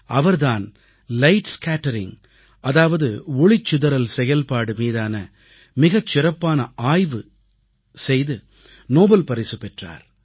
அவர் தான் light scattering அதாவது ஒளிச்சிதறல் செயல்பாடு மீதான மிகச்சிறப்பான ஆய்வு செய்து நோபல் பரிசு பெற்றார்